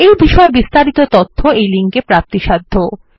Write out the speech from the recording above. এই বিষয়ে বিস্তারিত তথ্য এই লিঙ্কে প্রাপ্তিসাধ্য